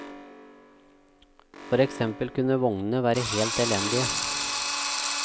For eksempel kunne vognene være helt elendige.